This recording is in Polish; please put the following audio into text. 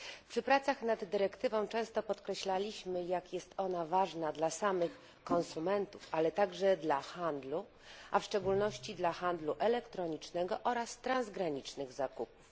W tych pracach nad dyrektywą często podkreślaliśmy, jak jest ona ważna dla samych konsumentów, ale także dla handlu, a w szczególności dla handlu elektronicznego oraz transgranicznych zakupów.